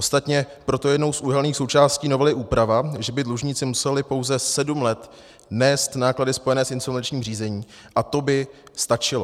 Ostatně proto je jednou z úhelných součástí novely úprava, že by dlužníci museli pouze sedm let nést náklady spojené s insolvenčním řízením a to by stačilo.